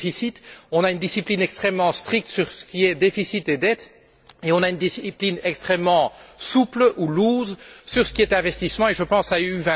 Premier déficit, on a une discipline extrêmement stricte sur ce qui est déficit et dette et on a une discipline extrêmement souple, ou loose sur ce qui est investissement, et je pense à Europe